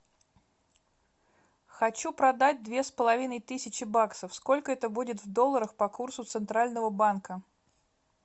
хочу продать две с половиной тысячи баксов сколько это будет в долларах по курсу центрального банка